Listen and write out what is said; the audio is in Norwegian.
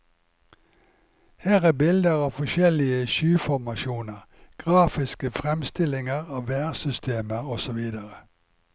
Her er bilder av forskjellige skyformasjoner, grafiske fremstillinger av værsystemer, osv.